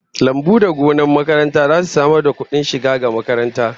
Lambu da gonar makaranta zasu samar da kudin shiga ga makaranta